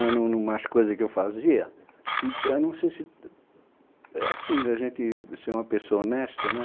Né num numas coisas que eu fazia, então não sei se... É assim, da gente ser uma pessoa honesta, né?